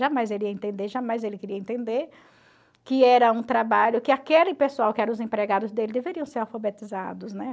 Jamais ele ia entender, jamais ele queria entender que era um trabalho que aquele pessoal, que eram os empregados dele, deveriam ser alfabetizados, né?